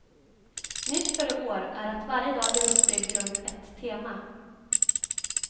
Nytt för i år är att varje dag är uppbyggd runt ett tema.